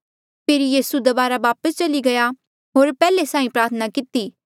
फेरी यीसू दबारा वापस चली गया होर पैहले साहीं किन्हें प्रार्थना किती